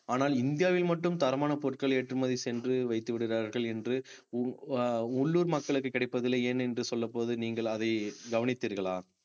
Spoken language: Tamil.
ஆனால் இந்தியாவில் மட்டும் தரமான பொருட்கள் ஏற்றுமதி சென்று வைத்து விடுகிறார்கள் என்று உ~ உள்ளூர் மக்களுக்கு கிடைப்பதில்லை ஏன் என்று சொல்லும் போது நீங்கள் அதை கவனித்தீர்களா